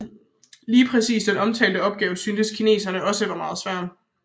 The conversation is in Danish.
Lige præcis den omtalte opgave syntes kineserne også var svær